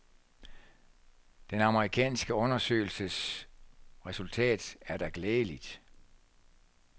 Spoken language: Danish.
Den amerikanske undersøgelses resultat er da glædeligt.